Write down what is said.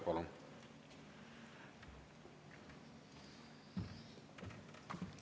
Palun!